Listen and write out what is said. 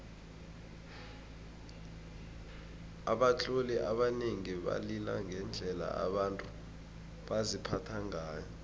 abatloli abanengi balila ngendlela abantu baziphatha ngayo